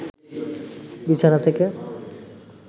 বিছানা থেকে